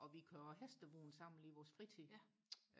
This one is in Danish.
og vi kører hestevogn sammen i vores fritid